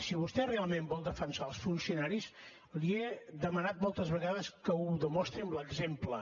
si vostè realment vol defensar els funcionaris li he demanat moltes vegades que ho demostri amb l’exemple